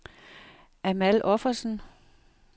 Amal Offersen